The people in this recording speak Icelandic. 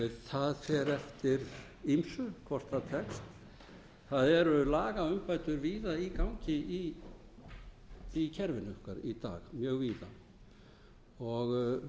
það fer eftir ýmsu hvort það tekst það eru lagaumbætur víða í gangi í kerfinu okkar í dag mjög víða og